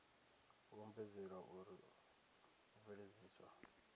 u ombedzelwa uri u bveledziswa